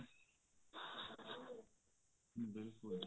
ਬਿਲਕੁਲ ਜੀ